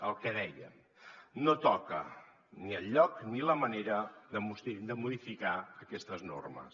el que dèiem no toca ni el lloc ni la manera de modificar aquestes normes